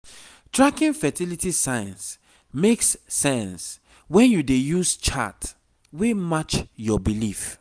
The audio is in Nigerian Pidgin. tracking fertility signs makes sense when you dey use chart wey match your belief